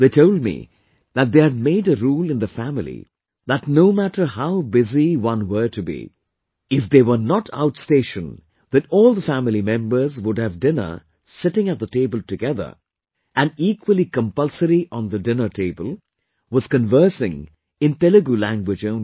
They told me that they had made a rule in the family that no matter how busy one were to be, if they were not outstation, then all the family members would have dinner sitting at the table together and equally compulsory on the dinner table was conversing in Telugu language only